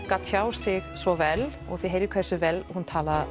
kann að tjá sig svo vel og þið heyrið hversu vel hún talar